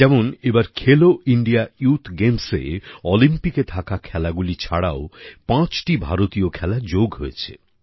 যেমন এবার খেলো ইন্ডিয়া ইউথ গেমসএ অলিম্পিকে থাকা খেলাগুলি ছাড়াও পাঁচটি ভারতীয় খেলা যোগ হয়েছে